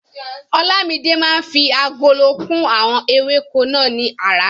Olamide máa ń fi agolo kún àwọn ewéko náà ní aràárọ̀.